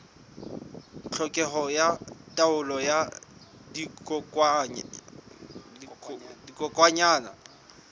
tlhokeho ya taolo ya dikokwanyana